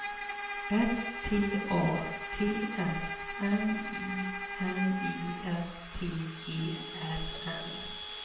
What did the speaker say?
S T A T S M I N I S T E R N